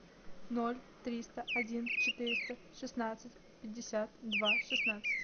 ноль триста один четыреста шестнадцать пятьдесят два шестнадцать